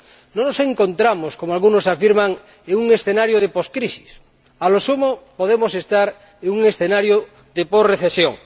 No nos encontramos ―como algunos afirman― en un escenario de poscrisis, a lo sumo, podemos estar en un escenario de posrecesión.